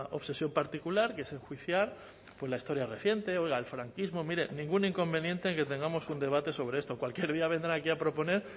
obsesión particular que es enjuiciar la historia reciente el franquismo mire ningún inconveniente en que tengamos un debate sobre esto cualquier día vendrá aquí a proponer